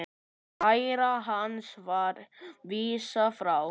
Kæru hans var vísað frá.